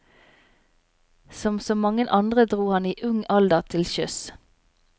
Som så mange andre dro han i ung alder til sjøs.